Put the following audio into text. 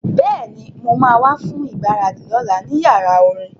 Bẹ́ẹ̀ni, mo ma wá fún ìgbáradì lọ́la ní yàrá orin